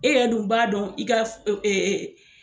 E yɛrɛ dun b'a dɔn i ka f e e